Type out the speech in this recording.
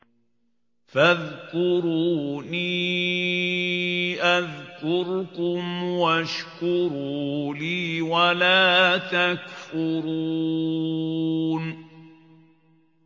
فَاذْكُرُونِي أَذْكُرْكُمْ وَاشْكُرُوا لِي وَلَا تَكْفُرُونِ